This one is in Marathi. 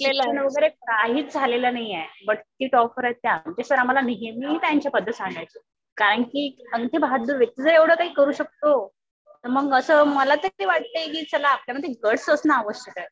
शिक्षण वगैरे काहीच झालेलं नाहीये. बट किती टॉप वर आहेत त्या. आमचे सर आम्हाला नेहमी त्यांच्या बद्दल सांगायचे. कारण कि अंगठेबहाद्दुर व्यक्ती जर एवढं काही करू शकतो असं तर मग मला तरी असं वाटतंय कि आपल्या मध्ये गट्स असणं आवश्यक आहे.